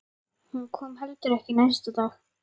Hún kom heldur ekki næsta dag.